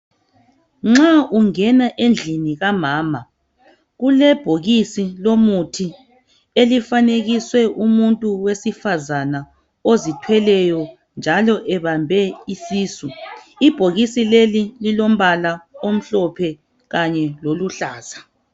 Nxa ungena endlini kamama, kulebhokisi lomuthi elifanekiswe umuntu wesifazana ozithweleyo njalo ebambe isisu. Ibhokisi leli lilombala omhlophe kanye loluhlaza.